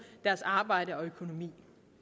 deres arbejde og økonomi